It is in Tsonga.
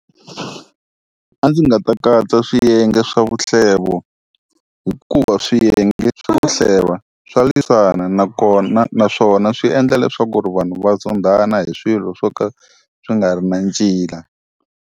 A ndzi nga ta katsa swiyenge swa vuhlevo vo hikuva swiyenge swa ku hleva, swa lwisana nakona naswona swi endla leswaku ku ri vanhu va zondhana hi swilo swo ka swi nga ri na ncila.